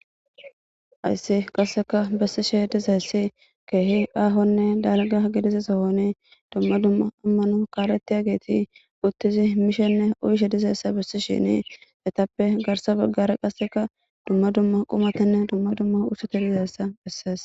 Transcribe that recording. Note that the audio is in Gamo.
Hayssi qasseka bessishe dizayssi keehi aahonne dalgga gidiza sohon dumma dumma ammano kaaletiyageti uttidi mishenne uyishe yizayssa bessishin etappe garssa baggara qassekka dumma dumma qumatanne dumma dumma ushshata dizaysa besses.